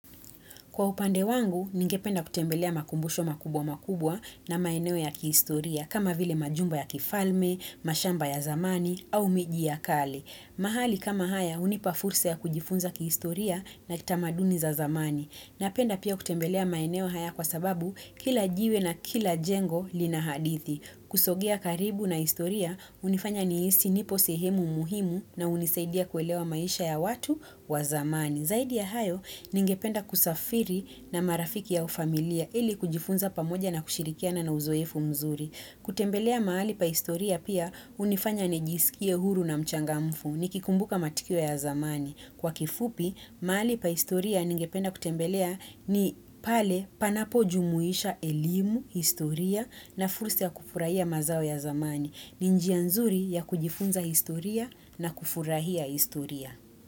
Kwa upande wangu, ningependa kutembelea makumbusho makubwa makubwa na maeneo ya kiistoria, kama vile majumba ya kifalme, mashamba ya zamani, au miji ya kali. Mahali kama haya, unipafursa ya kujifunza kiistoria na kitamaduni za zamani. Napenda pia kutembelea maeneo haya kwa sababu kila jiwe na kila jengo lina hadithi. Kusogea karibu na istoria, unifanya niisi nipo sehemu muhimu na unisaidia kuelewa maisha ya watu wa zamani. Zaidi ya hayo, ningependa kusafiri na marafiki au familia, ili kujifunza pamoja na kushirikia na nauzoefu mzuri. Kutembelea maali pa historia pia, unifanya nijisikie huru na mchangamfu, nikikumbuka matukio ya zamani. Kwa kifupi, mahali pa historia ningependa kutembelea ni pale panapo jumuisha elimu, historia na fursa ya kufurahia mazao ya zamani. Ni njia nzuri ya kujifunza historia na kufurahia historia.